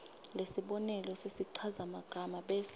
lesibonelo sesichazamagama bese